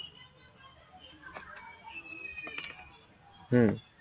উম